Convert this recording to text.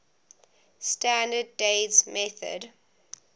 standard days method